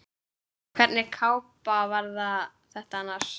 Hvernig kápa var þetta annars?